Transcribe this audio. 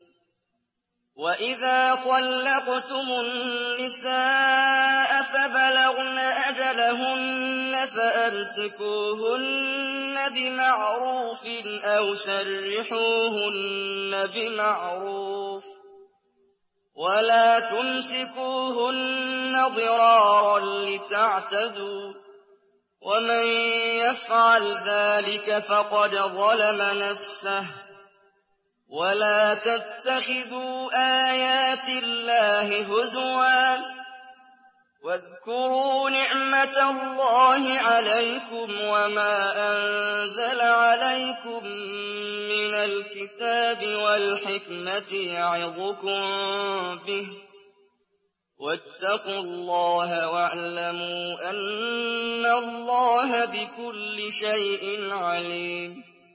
وَإِذَا طَلَّقْتُمُ النِّسَاءَ فَبَلَغْنَ أَجَلَهُنَّ فَأَمْسِكُوهُنَّ بِمَعْرُوفٍ أَوْ سَرِّحُوهُنَّ بِمَعْرُوفٍ ۚ وَلَا تُمْسِكُوهُنَّ ضِرَارًا لِّتَعْتَدُوا ۚ وَمَن يَفْعَلْ ذَٰلِكَ فَقَدْ ظَلَمَ نَفْسَهُ ۚ وَلَا تَتَّخِذُوا آيَاتِ اللَّهِ هُزُوًا ۚ وَاذْكُرُوا نِعْمَتَ اللَّهِ عَلَيْكُمْ وَمَا أَنزَلَ عَلَيْكُم مِّنَ الْكِتَابِ وَالْحِكْمَةِ يَعِظُكُم بِهِ ۚ وَاتَّقُوا اللَّهَ وَاعْلَمُوا أَنَّ اللَّهَ بِكُلِّ شَيْءٍ عَلِيمٌ